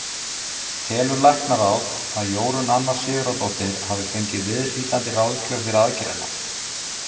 Telur læknaráð, að Jórunn Anna Sigurðardóttir hafi fengið viðhlítandi ráðgjöf fyrir aðgerðina?